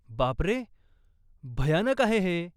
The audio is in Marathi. बापरे, भयानक आहे हे.